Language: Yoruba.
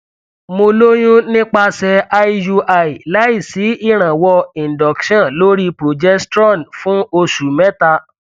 mo lóyún nípasẹ iui láìsí ìrànwọ induction lórí progestrone fún oṣù mẹta